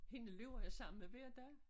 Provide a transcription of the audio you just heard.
Hende løber jeg sammen med hver dag